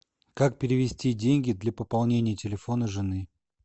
как перевести деньги для пополнения телефона жены